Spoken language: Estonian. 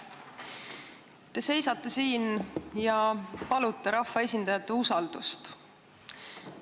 Te seisate siin ja palute rahvaesindajate usaldust.